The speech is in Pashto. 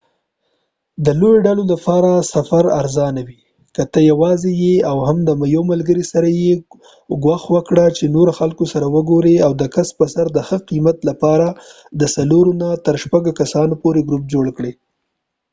د لويو ډلو لپاره سفر ارزانه وي ، که ته یواځی او یا هم د یو ملګری سره یې ،کوښښ وکړه چې نور خلکو سره وګوری او د کس په سر د ښه قیمت لپاره د د څلورو نه تر شپږو کسانو پورې ګروپ جوړ کړي